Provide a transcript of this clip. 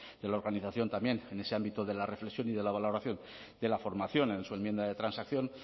de la organización también en ese ámbito de la reflexión y de la valoración de la formación en su enmienda de transacción